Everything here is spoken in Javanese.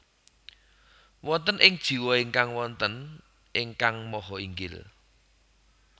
Wonten ing jiwa ingkang wonten Ingkang Maha Inggil